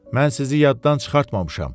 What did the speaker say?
Mən sizi yaddan çıxartmamışam.